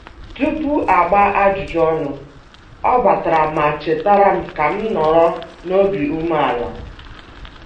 Tupu a gbaa ajụjụ ọnụ, ọ batara ma chetara m ka m nọrọ n'obi ume ala